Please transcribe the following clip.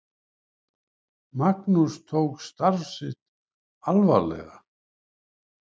Magnús tók starf sitt alvarlega.